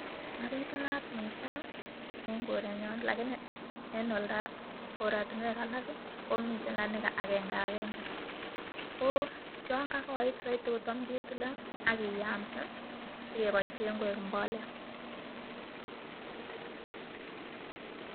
Mabititunat mising eng korenyo lagini en oldage, korotinwek alak komiten lagini agengagenge. Ko yon kagoit saiti kotam ketile ak kiyamsi sigeboisien koik mbolea